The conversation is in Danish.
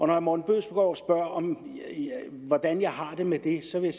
herre morten bødskov spørger om hvordan jeg har det med det så vil